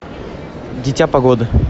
дитя погоды